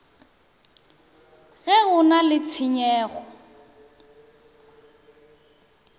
ge go na le tshenyego